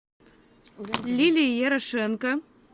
лилии ярошенко